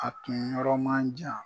A tun yɔrɔ manjan.